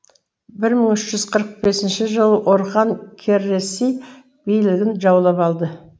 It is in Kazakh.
бір мың үш жүз қырық бесінші жылы орхан кареси бейлігін жаулап алды